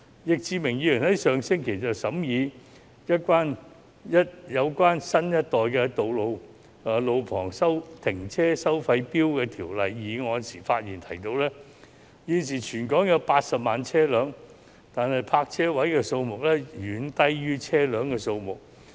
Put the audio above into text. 易志明議員在上星期審議有關新一代路旁停車收費錶的法案時提到，現時全港有近80萬部車輛，但泊車位的數量遠低於車輛的數目。